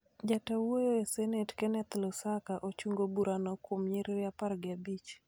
Ja ta wuoyo e senet Kenneth Lusaka, ochungo burano kuom nyiriri apar gi abich